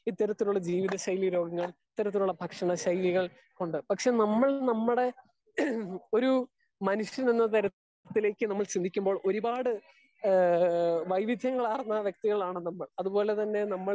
Speaker 2 ഇത്തരത്തിലുള്ള ജീവിത ശൈലി രോഗങ്ങൾ ഇത്തരത്തിലുള്ള ഭക്ഷണ ശൈലി കൾ കൊണ്ട് പക്ഷെ നമ്മൾ നമ്മുടെ ഒര് മനുഷൻ എന്ന് തരത്തിൽ ചിന്തിക്കുമ്പോൾ ഒരുപാട് വൈവിദ്യങ്ങൾ ആർന്നു വ്യക്തികൾ ആണ് നമ്മൾ. അത് പോലെ തന്നെ നമ്മൾ